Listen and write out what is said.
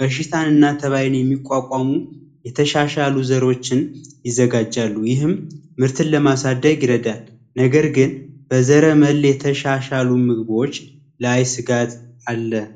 በሽታን እና ተባይን የሚቋቋሙ የተሻሻሉ ዘሮችን ይዘጋጃሉ ይህም ምርትን ለማሳደግ ይረዳል ነገር ግን በዘረመል የተሻሻሉ ምግቦች ላይ ስጋት አለ።